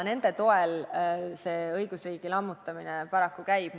Nende toel see õigusriigi lammutamine paraku käib.